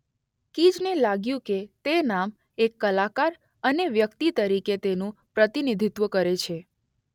કીઝને લાગ્યું કે તે નામ એક કલાકાર અને વ્યક્તિ તરીકે તેનું પ્રતિનિધિત્વ કરે છે.